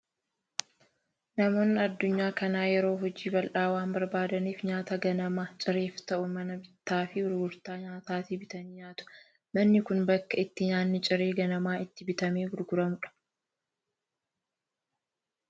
Namoonni addunyaa kanaa yeroo hojii bal'aa waan barbaadaniif, nyaata ganama cireef ta'u mana bittaa fi gurgurtaa nyaatatii bitanii nyaatu. Manni kun bakka itti nyaannii ciree ganamaa itti bitamee gurguramu dha.